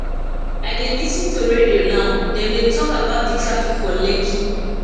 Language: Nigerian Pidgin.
i dey lis ten to radio now dem don talk about traffic for lekki